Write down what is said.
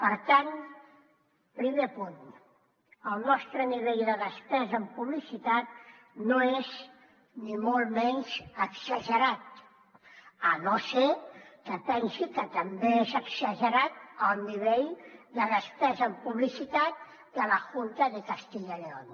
per tant primer punt el nostre nivell de despesa en publicitat no és ni molt menys exagerat a no ser que pensi que també és exagerat el nivell de despesa en publicitat de la junta de castilla y león